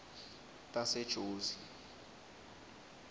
tasejozi